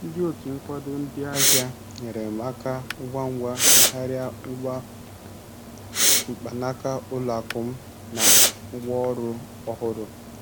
Ndị otu nkwado ndị ahịa nyeere m aka ngwa ngwa megharịa ngwa mkpanaka ụlọ akụ m na ngwaọrụ ọhụrụ.